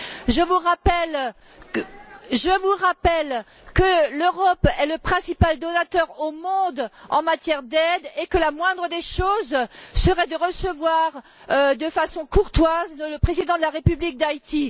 Je vous rappelle que l'Europe est le principal donateur au monde en matière d'aide et que la moindre des choses serait de recevoir de façon courtoise le Président de la République d'Haïti.